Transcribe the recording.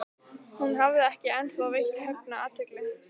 Hún hafði ekki ennþá veitt Högna athygli.